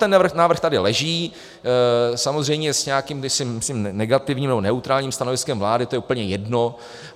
Ten návrh tady leží, samozřejmě s nějakým myslím negativním nebo neutrálním stanoviskem vlády, to je úplně jedno.